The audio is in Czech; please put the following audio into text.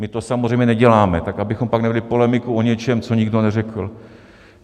My to samozřejmě neděláme, tak abychom pak nevedli polemiku o něčem, co nikdo neřekl.